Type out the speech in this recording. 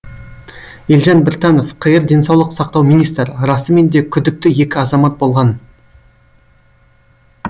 елжан біртанов қр денсаулық сақтау министрі расымен де күдікті екі азамат болған